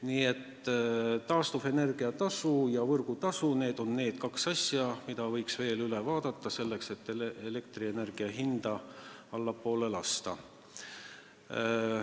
Nii et taastuvenergia tasu ja võrgutasu, need on need kaks asja, mille võiks veel üle vaadata, selleks et elektrienergia hinda allapoole lasta.